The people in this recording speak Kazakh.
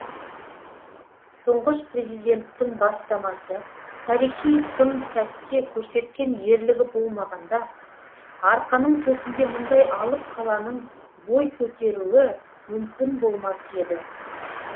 тұңғыш президенттің бастамасы тарихи сын сәтте көрсеткен ерлігі болмағанда арқаның төсінде мұндай алып қаланың бой көтеруі мүмкін болмас еді